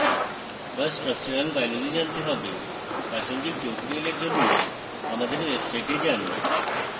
বা structural biology জানতে হবে প্রাসঙ্গিক tutorials জন্য আমাদের website যান